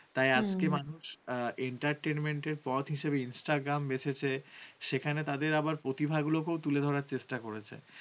entertainment পথ হিসেবে instagram বেছেছে, সেখানে তাদের আবার প্রতিভাগুলোকে তুলে ধরার চেষ্টা করেছে